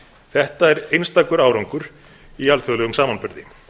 þetta er einstakur árangur í alþjóðlegum samanburði